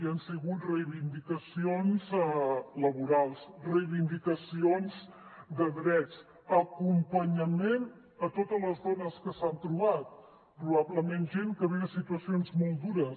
han sigut reivindicacions laborals reivindicacions de drets acompanyament a totes les dones que s’han trobat probablement gent que ve de situacions molt dures